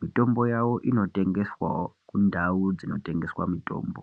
mitombo yawo inodetserwawo kumitombo yawo.